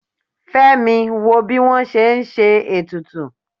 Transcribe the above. femi wọ bi wọn se n se etùtù